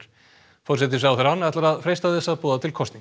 forsætisráðherrann ætlar að freista þess að boða til kosninga